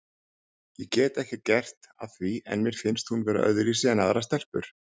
Ég get ekki gert að því en mér finnst hún vera öðruvísi en aðrar stelpur.